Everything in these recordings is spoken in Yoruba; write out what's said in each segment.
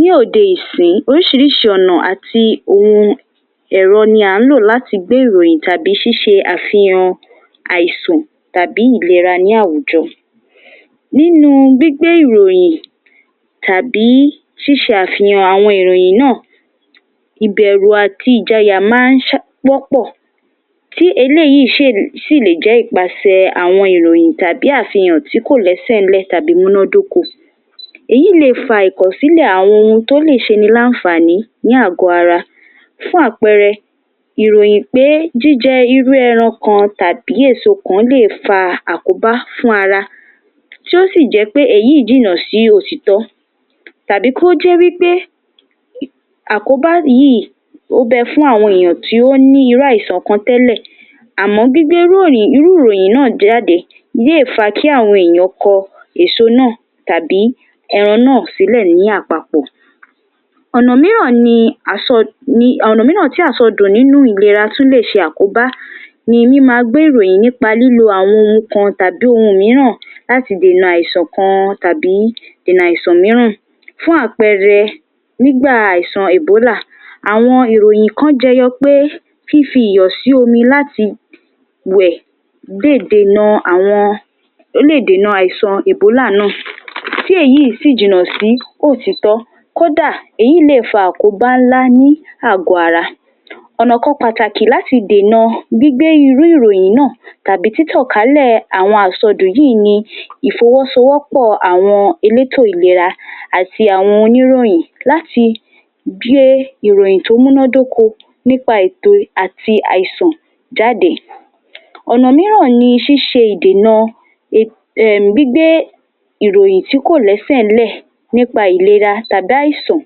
Ní òde yìí sin orísirísi ọ̀nà àti ohun ẹ̀rọ ni à ń lò láti gbé ìròyìn tàbí ṣíṣe àfihàn àìsàn tàbí ìlera ní àwùjọ. Nínú gbígbé ìròyìn tàbí ṣíṣe àfihàn àwọn ìròyìn náà, ibẹ̀rù àti ìjayà má ń pọ́pọ̀, tí eléyìí síì síì le jẹ́ ìpàṣẹ àwọn ìròyìn tàbí àfihàn tí kò lẹ́sẹ̀ńlẹ̀ tàbí múndódóko. Éyí le fa ìkọ̀sílẹ̀ àwọn ohun tó lè ṣe niláìnfani ní àgọ́ ara. Fún àpẹrẹ, ìròyìn pé jíjẹ irú ẹran kan tàbí èso kan lè fa àkóbá fún ara, tí ó sí jẹ́ pé èyí jìnnà sí òtítọ́, tàbí kó jẹ́ wípé àkóbá yìí ó bẹ fún àwọn èèyàn tí ó ní irú ìsàn kan tẹ́lé. Àmọ́ gbígbé irú ìròyìn náà jáde yè fa kí àwọn èèyàn kọ èso náà tàbí ẹran náà sílẹ̀ ní àpapọ. Ọ̀nà mìíràn ni àsọ... Ní ọ̀nà mìíràn tí àsọdù nínú ìlera sùn le se àkóbá ni mímú agbẹ ìròyìn nípá lílo àwọn ohun kan tàbí ohun mìíràn láti dènà àìsàn kan tàbí dènà àìsàn mìíràn. Fún àpẹrẹ, nígbà àìsàn Ebola, àwọn ìròyìn kan jẹ́yọ pé fífiyọ sí omi láti wẹ̀ lè dènà àwọn lè dènà àìsàn Ebola náà. Ti èyí sì jìnà sí òtítọ́, kódà èyí lè fa àkóbá ńlá ní àgọ́ ara. Ọ̀nà kan pàtàkì láti dènà gbígbé irú ìròyìn náà tàbí títọ̀kálẹ̀ àwọn àsọdù yìí ni ìfowósowọ́pọ̀ àwọn eléétò ìlera àti àwọn oníròyìn láti gbé ìròyìn tó múndódóko nípa ètò àti àìsàn jáde. Ọ̀nà mìíràn ni ṣíṣe idènà, ehm, gbígbé ìròyìn tí kò lẹ́sẹ̀ńlẹ̀ nípa ìlera tàbí àìsàn.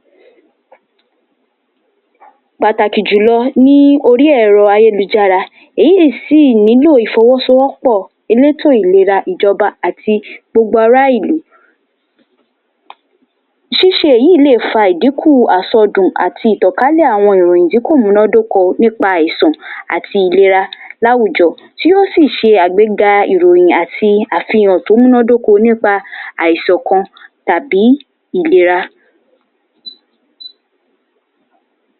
Pàtàkì jùlọ ní orí ẹ̀rọ ayélujára, èyí sì ní lo ìfowósowọ́pọ̀ eléétò ìlera, ìjọba àti gbagbara ìlú. Ṣíṣe yìí lè fa ìdínkù àsọdù àti ìtọkalẹ̀ àwọn ìròyìn tí kò múndódóko nípa àìsàn àti ìlera láwùjọ, tí ó sì ṣe agbéga ìròyìn àti àfihàn tó múndódóko nípa àìsàn kan tàbí ìlera.